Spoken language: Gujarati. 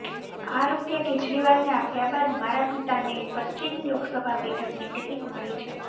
આ રૂપિયા કેજરીવાલને આપ્યા બાદ મારા પિતાને પશ્ચિમી લોકસભા બેઠકની ટિકિટ મળી છે